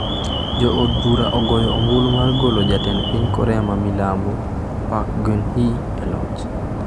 Jo od bura ogoyo ombulu mar golo Jatend piny Korea ma milambo, Park Geun-hye, e loch